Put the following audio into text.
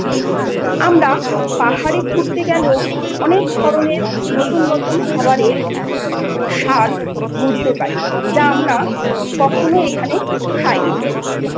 আমরা পাহাড়ে ঘুরতে গেলেও অনেক ধরনের নতুন নতুন খাবারের স্বাদ বুঝতে পারি যা আমরা কখনও এখানে খাইনি।